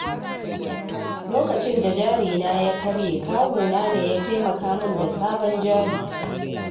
Lokacin da jari na ya karye, kawu na ne ya taimaka min da sabon jari.